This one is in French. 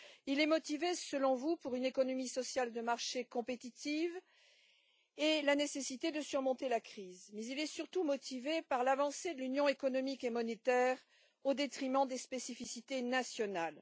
Il est motivé, selon vous, par une économie sociale de marché compétitive et la nécessité de surmonter la crise, mais il est surtout motivé par l'avancée de l'Union économique et monétaire, au détriment des spécificités nationales.